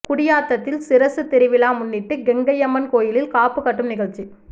குடியாத்தத்தில் சிரசு திருவிழா முன்னிட்டு கெங்கையம்மன் கோயிலில் காப்பு கட்டும் நிகழ்ச்சி